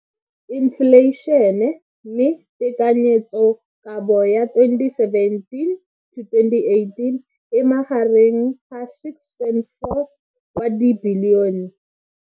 Infleišene, mme tekanyetsokabo ya 2017 to 2018 e magareng ga R6.4 bilione.